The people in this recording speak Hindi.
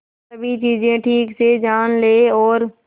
सभी चीजें ठीक से जान ले और